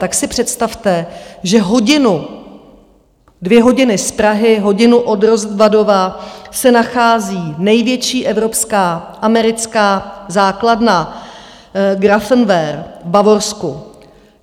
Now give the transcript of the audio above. Tak si představte, že hodinu - dvě hodiny z Prahy, hodinu od Rozvadova se nachází největší evropská americká základna Grafenwöhr v Bavorsku.